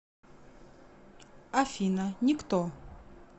афина никто